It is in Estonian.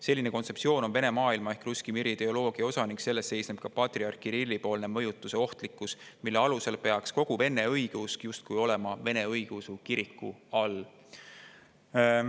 Selline kontseptsioon on Vene maailma ehk Russki miri ideoloogia osa ning selles seisneb ka patriarh Kirilli poolse mõjutuse ohtlikkus, mille alusel peaks kogu vene õigeusk justkui olema Vene Õigeusu Kiriku all.